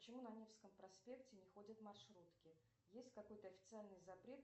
почему на невском проспекте не ходят маршрутки есть какой то официальный запрет